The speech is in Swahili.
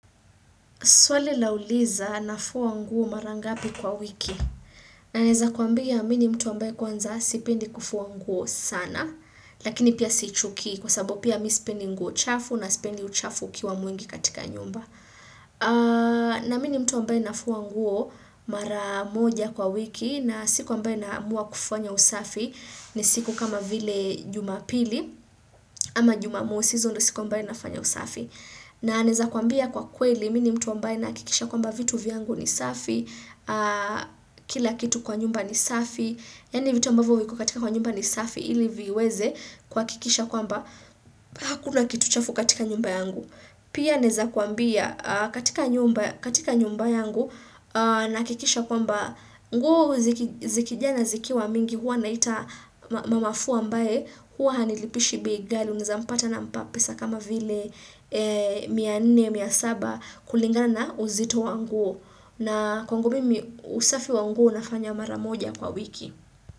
Swali linauliza na fua nguo mara ngapi kwa wiki. Na naeza kuambia mimi ni mtu ambaye kwanza sipendi kufua nguo sana. Lakini pia sichuki kwa sababu pia mimi sipendi nguo chafu na sipendi uchafu ukiwa mwingi katika nyumba. Na mimi ni mtu ambaye nafua nguo mara moja kwa wiki na siku ambaye naamua kufanya usafi ni siku kama vile jumapili ama jumamosi hizo ndo siku ambayo nafanya usafi. Na naeza kuambia kwa kweli, mimi ni mtu ambaye nahakikisha kwamba vitu vyangu ni safi, kila kitu kwa nyumba ni safi, yaani vitu ambavyo viko katika kwa nyumba ni safi, ili viweze kuhakikisha kwamba, hakuna kitu chafu katika nyumba yangu. Pia naeza kuambia katika nyumba yangu nahakikisha kwamba nguo zikijaa na zikiwa mingi huwa naita mamafua ambaye huwa hanilipishi bei ghali unaeza mpata nampa pesa kama vile mia nne mia saba kulingana na uzito wa nguo na kwangu mimi usafi wa nguo nafanya maramoja kwa wiki.